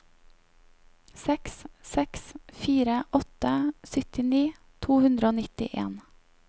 seks seks fire åtte syttini to hundre og nittien